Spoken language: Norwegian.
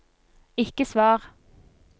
ikke svar